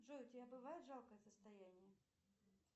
джой у тебя бывает жалкое состояние